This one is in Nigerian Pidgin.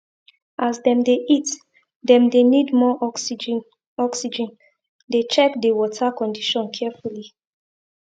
as dem dey eat dem dey need more oxygen oxygen dey check the water condition carefully